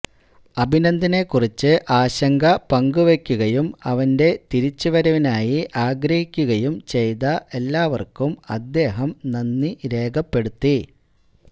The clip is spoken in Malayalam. അഭിനന്ദനെ കുറിച്ച് ആശങ്ക പങ്കുവയ്ക്കുകയും അവന്റെ തിരിച്ച് വരവിനായി ആഗ്രഹിക്കുകയും ചെയ്ത ഏല്ലാര്ക്കും അദ്ദേഹം നന്ദി രേഖപ്പെടുത്തി